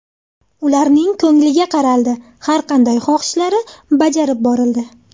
Ularning ko‘ngliga qaraldi, har qanday xohishlari bajarib borildi.